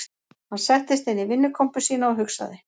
Hann settist inn í vinnukompu sína og hugsaði